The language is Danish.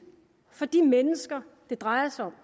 for de mennesker det drejer sig